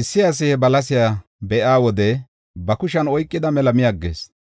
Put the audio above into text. Issi asi he balasiya be7iya wode ba kushen oykida mela mi aggees.